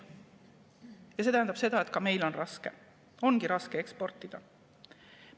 Ja see tähendab seda, et ka meil on raske, ongi raske eksportida.